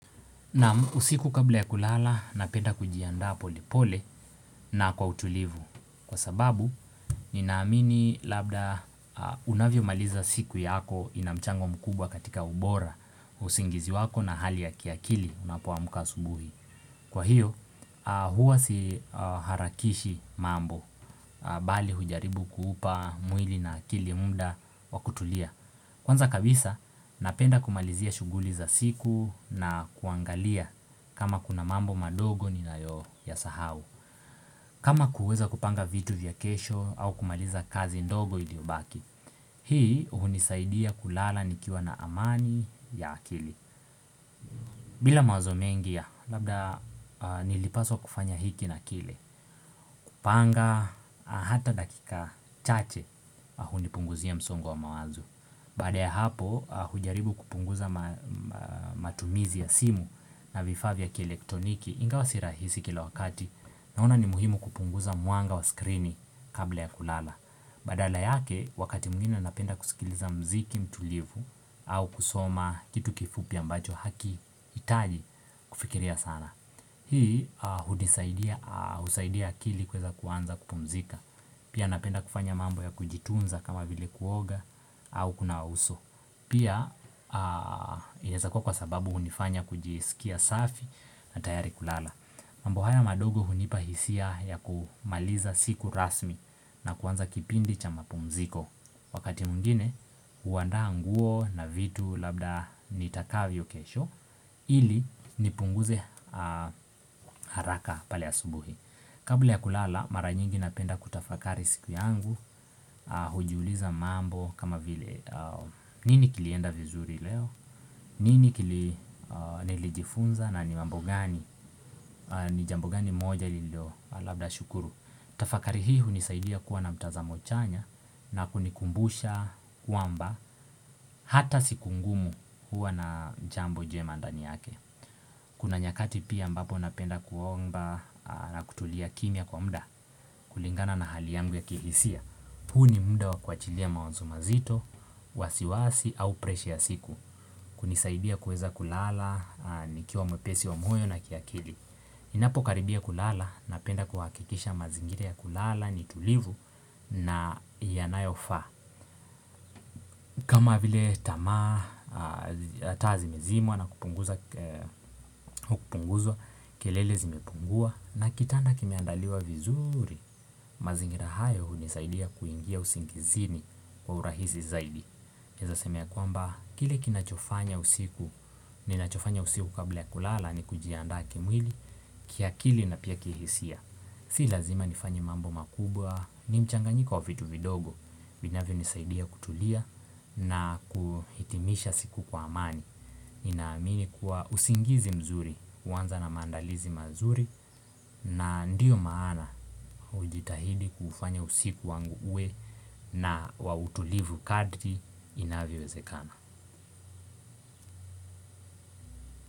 Usiku kabla ya kulala, napenda kujiandaa polepole na kwa utulivu. Kwa sababu, ninaamini labda unavyo maliza siku yako inamchango mkubwa katika ubora wa usingizi wako na hali ya kiakili unapoamka asubuhi. Kwa hiyo huwa si harakishi mambo bali hujaribu kuupa mwili na akili muda wakutulia Kwanza kabisa napenda kumalizia shughuli za siku na kuangalia kama kuna mambo madogo ni nayo ya sahau kama kuweza kupanga vitu vya kesho au kumaliza kazi ndogo ili ubaki Hii hunisaidia kulala nikiwa na amani ya akili bila mawazo mengia labda nilipaswa kufanya hiki na kile Panga hata dakika chache ahunipunguzia msongo wa mawazo Baada ya hapo hujaribu kupunguza matumizi ya simu na vifaa vya ki elektroniki inga wasirahisi kila wakati Naona ni muhimu kupunguza mwanga wa skrini kabla ya kulala Badala yake wakati mwingine napenda kusikiliza mziki mtulivu au kusoma kitu kifupi ambacho hakihitaji kufikiria sana hunisaidia husaidia akili kueza kuanza kupumzika Pia napenda kufanya mambo ya kujitunza kama vile kuoga au kunawa uso Pia inaezakua kwa sababu hunifanya kujiskia safi na tayari kulala mambo haya madogo hunipahisia ya kumaliza siku rasmi na kuanza kipindi cha mapumziko Wakati mwingine, huandaa nguo na vitu labda nitakavyo kesho ili nipunguze haraka pale asubuhi Kabla ya kulala, maranyingi napenda kutafakari siku yangu, hujiuliza mambo kama vile nini kilienda vizuri leo? Nini kili nilijifunza? Na ni mambo gani ni jambogani moja lilo labda shukuru Tafakari hili hunisaidia kuwa na mtazamo chanya na kunikumbusha kwamba Hata siku ngumu huwa na jambo jema ndani yake Kuna nyakati pia ambapo napenda kuomba na kutulia kimya kwa mda kulingana na hali yangu ya kihisia huu ni mda wa kuachilia mawazo mazito wasiwasi au presha ya siku kunisaidia kuweza kulala nikiwa mwepesi wa mwoyo na kiakili Inapo karibia kulala napenda kuhakikisha mazingira ya kulala ni tulivu na yanayofaa kama vile tamaa ataazimezimwa na kupunguza kupunguzwa kelele zimepungua na kitanda kimeandaliwa vizuri mazingira hayo hunisaidia kuingia usingizini kwa urahisi zaidi Naeza sema ya kwamba kile kinachofanya usiku ninachofanya usiku kabla ya kulala ni kujiandaa kimwili kiakili na pia kihisia Si lazima nifanye mambo makubwa, ni mchanganyik wa vitu vidogo, vinavyo nisaidia kutulia na kuhitimisha siku kwa amani Ninaamini kuwa usingizi mzuri, huanza na maandalizi mazuri na ndio maana ujitahidi kufanya usiku wangu uwe na wautulivu kadri inavyo wezekana.